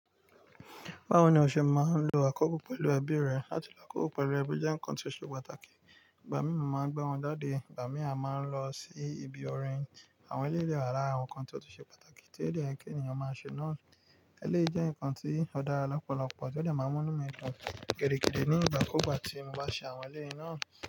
Báwo ni o ṣe máa ń lo àkókò pẹ̀lú ẹbí rẹ? Lati l'ákòókò pẹ̀lú ẹbí jẹ́ nǹkan tí ó ṣe pàtàkì. Ìgbà mí mọ̀ máa ń gbá wọn jáde, ìgbà mí a máa ń lọ sí ibi orin. Àwọn eleyi de wa làárin àwọn nǹkan tí ó tún ṣe pàtàkì tí ó dọ̀ọ̀kọ́ ènìyàn máa ń ṣe náà. Eléyi jẹ́ nǹkan tí ó dára lọ́pọ̀lọpọ̀ tí ó de máa n mú inumi dùn gidigidi nígbà kugbà tí mo bá ṣe àwọn eléyi náà.